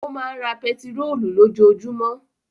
Ó máa ń ra pẹtírólù lójoojúmọ́.